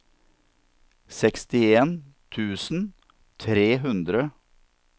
sekstien tusen tre hundre og førtitre